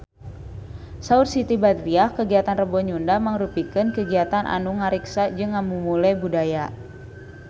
Saur Siti Badriah kagiatan Rebo Nyunda mangrupikeun kagiatan anu ngariksa jeung ngamumule budaya Sunda